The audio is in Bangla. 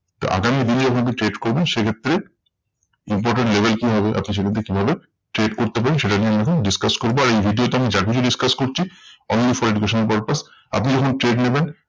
তো আগামী দিনে যখন কেউ trade করবেন সেই ক্ষেত্রে important level কি হবে? আপনি সেখান থেকে কিভাবে trade করতে পারেন? সেটা নিয়ে আমি এখন discuss করবো। আর এই video তে আমি যা কিছু discuss করছি only for educational purpose. আপনি যখন trade নেবেন